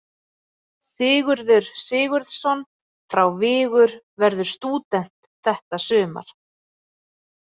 Sigurður Sigurðsson frá Vigur verður stúdent þetta sumar.